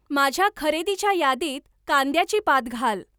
माझ्या खरेदीच्या यादीत कांद्याची पात घाल.